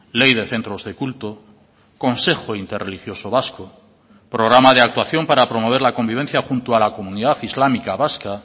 ley de centros de culto consejo interreligioso vasco programa de actuación para promover la convivencia junto a la comunidad islámica vasca